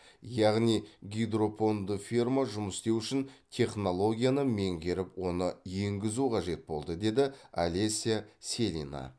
яғни гидропонды ферма жұмыс істеуі үшін технологияны меңгеріп оны енгізу қажет болды деді олеся селина